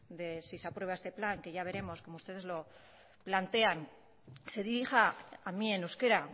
de si se aprueba este plan que ya veremos como ustedes lo plantean se dirija a mí en euskera